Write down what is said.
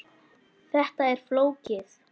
Þetta er flókið.